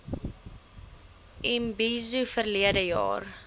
imbizo verlede jaar